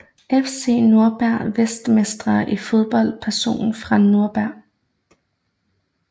FC Nürnberg Verdensmestre i fodbold Personer fra Nürnberg